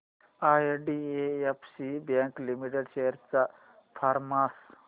IDFC bank limited shares चा performance